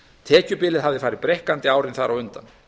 tekjubilið hafði hins vegar breikkað árin þar á undan